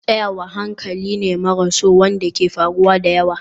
Tsayawa hankali ne maras so wanda ke faruwa da yawa.